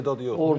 Tək istedad yox.